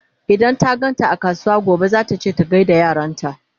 idan ta ganta a kasuwa gobe zata ce ta gaida yaranta